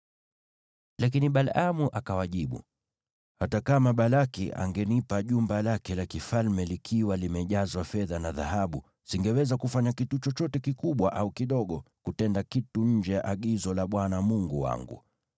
Lakini Balaamu akawajibu, “Hata kama Balaki angenipa jumba lake la kifalme likiwa limejazwa fedha na dhahabu, singeweza kufanya kitu chochote kikubwa au kidogo ili kutenda kitu nje ya agizo la Bwana Mungu wangu.